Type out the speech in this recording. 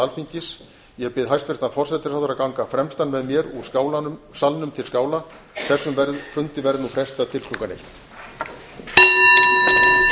alþingis ég bið hæstvirtan forsætisráðherra að ganga fremstan með mér úr salnum til skála þessum fundi verður nú frestað til klukkan þrettán